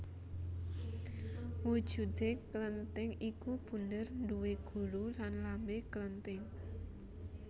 Wujudé klenthing iku bunder duwé gulu lan lambé klenthing